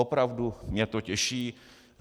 Opravdu mě to těší.